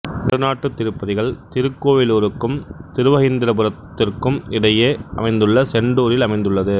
நடுநாட்டு திருப்பதிகள் திருக்கோவிலூருக்கும் திருவஹீந்திரபுரத்திற்கும் இடையே அமைந்துள்ள செண்டூரில் அமைந்துள்ளது